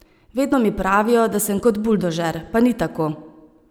Vedno mi pravijo, da sem kot buldožer, pa ni tako.